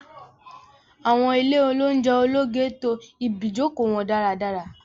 Awọn ile ounjẹ ologe to ibijoko wọn daradara